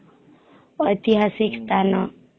ଐତିହାସିକ ସ୍ଥାନ